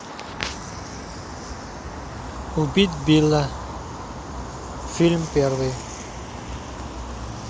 убить билла фильм первый